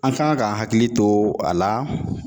An kan ka hakili to a la